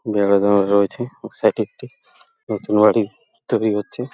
রয়েছে ওর সাইড এ একটি নতুন বাড়ি তৈরী হচ্ছে ।